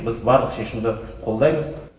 біз барлық шешімді қолдаймыз